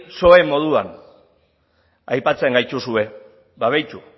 psoe moduan aipatzen gaituzue ba begiratu